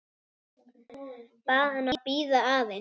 Bað hana að bíða aðeins.